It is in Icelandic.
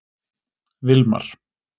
Vilmar